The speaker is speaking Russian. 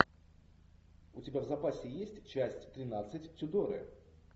у тебя в запасе есть часть тринадцать тюдоры